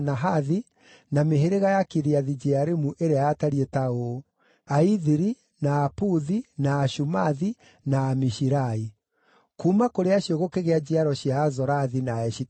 na mĩhĩrĩga ya Kiriathu-Jearimu ĩrĩa yatariĩ ta ũũ: Aithiri, na Aputhi, na Ashumathi, na Amishirai. Kuuma kũrĩ acio gũkĩgĩa njiaro cia Azorathi na Aeshitaoli.